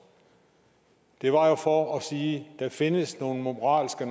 det var jo for at sige der findes nogle moralske